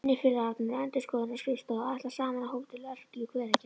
Vinnufélagarnir á endurskoðunarskrifstofunni ætla saman á Hótel Örk í Hveragerði.